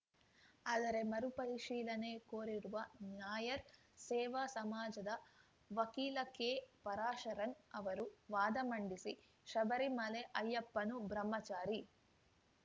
ಆದರೆ ಮರುಪರಿಶೀಲನೆ ಕೋರಿರುವ ನಾಯರ್‌ ಸೇವಾ ಸಮಾಜದ ವಕೀಲ ಕೆ ಪರಾಶರನ್‌ ಅವರು ವಾದ ಮಂಡಿಸಿ ಶಬರಿಮಲೆ ಅಯ್ಯಪ್ಪನು ಬ್ರಹ್ಮಚಾರಿ